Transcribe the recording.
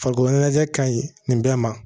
Farikolo ɲɛnajɛ ka ɲi nin bɛɛ ma